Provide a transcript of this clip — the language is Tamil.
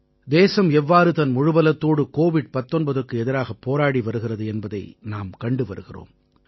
தேசம் எவ்வாறு தன் முழுபலத்தோடு கோவிட் 19க்கு எதிராகப் போராடி வருகிறது என்பதை நாம் கண்டு வருகிறோம்